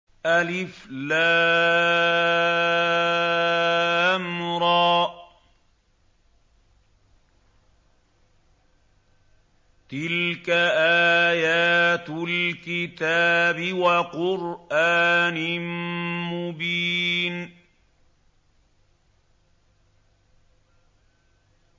الر ۚ تِلْكَ آيَاتُ الْكِتَابِ وَقُرْآنٍ مُّبِينٍ